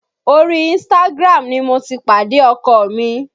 Orí Instagram ni mo ti pàdé ọkọ mi